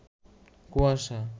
কুয়াশা